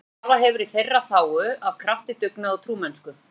Maður sem starfað hefur í þeirra þágu af krafti, dugnaði og trúmennsku.